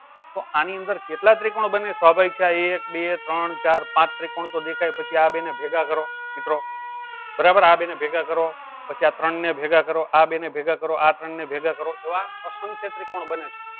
તો આની અંદર કેટલા ત્રિકોણ બને સ્વાભાવિક છે આ એક બે ત્રોણ ચાર પાચ ત્રિકોણ તો દેખાય પછી આ બેને ભેગા કરો મિત્રો બરાબર આ બેને ભેગા કરો પછી આ ત્રણને ભેગા કરો આ બેને ભેગા કરો. આ ત્રોન ને ભેગા કરો એવા અસંખ્ય ત્રિકોણ બને છે.